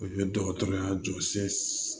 O ye dɔgɔtɔrɔya jɔsi